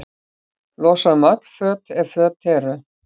Losa um öll föt, ef föt eru.